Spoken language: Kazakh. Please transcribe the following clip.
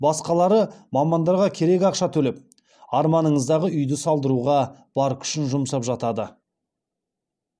басқалары мамандарға керек ақша төлеп арманыңыздағы үйді салдыруға бар күшін жұмсап жатады